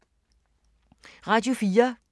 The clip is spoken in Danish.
Radio 4